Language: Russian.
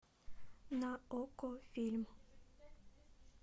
на окко фильм